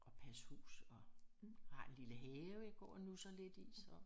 At passe hus og har en lille have jeg går og nusser lidt i så